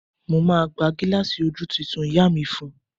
Mo máa gba gílààsì ojú tuntun ìyá mi fún un